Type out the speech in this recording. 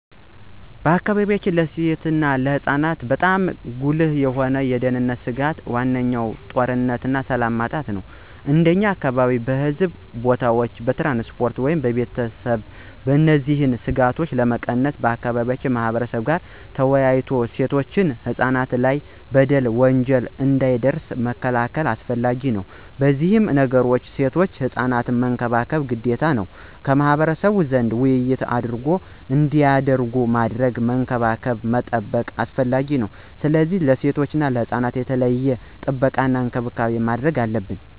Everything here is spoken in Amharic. በአካባቢያችን ለሴቶች እና ለህፃናት በጣም ጉልህ የሆኑ የደህንነት ስጋቶች ዋነኛው ጦርነትና ሰላም ማጣት ነው። እንደኛ አካባቢ በሕዝብ ቦታዎች፣ በትራንስፖርት ወይም በቤተሰብ እነዚህን ስጋቶች ለመቀነስ ከአካባቢው ማህበረብ ጋር ተወያይቶ ሴቶችና ህፃናት ላይ በደል፣ ወንጀል እንዳይደርስ መከላከል አስፈላጊ ነው። ከነዚህ ነገሮችም ሴቶችና ህፃናት መንከባከብ ግዴታ ነው። ከማህበረሰቡ ዘንድ ውይይት አድርጎ እንዳይጎዱ ማድረግ፣ መንከባከብ መጠበቅ አስፈላጊ ነው። ስለዚህ ለሴቶችና ህፃናት የተለየ ጥበቃና እንክብካቤ ማድረግ አለብን።